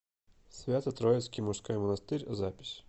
свято троицкий мужской монастырь запись